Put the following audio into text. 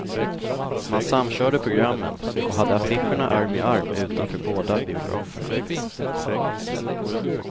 Man samkörde programmen och hade affischerna arm i arm utanför båda biograferna.